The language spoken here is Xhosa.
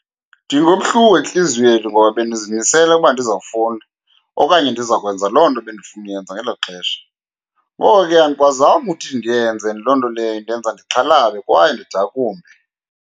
Ndingabuhlungu entliziyweni ngoba bendizimisele ukuba ndizawufunda okanye ndizakwenza loo nto bendifuna uyenza ngelo xesha. Ngoko ke, andikwazanga ukuthi ndiyenze. Loo nto leyo indenza ndixhalabe kwaye ndidakumbe.